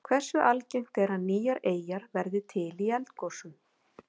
Hversu algengt er að nýjar eyjar verði til í eldgosum?